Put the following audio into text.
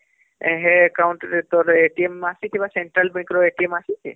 ହେ Account ରେ ତୋର ଅସୀଛେ Central Bank ର ଅସୀଛେ